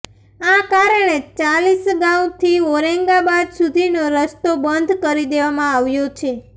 આ કારણે ચાલીસગાંવથી ઔરંગાબાદ સુધીનો રસ્તો બંધ કરી દેવામાં આવ્યો છે